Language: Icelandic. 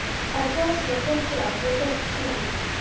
Að fá svona gott ráð hjá dóttur sinni!